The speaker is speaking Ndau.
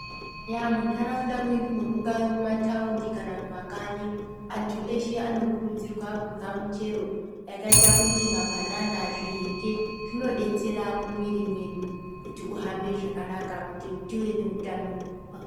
Eya muntharaunda mwedumu mungaamumakanyi antu eshe anokurudzirwa kudya michero yakaita mabanana